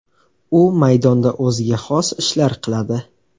U maydonda o‘ziga xos ishlar qiladi.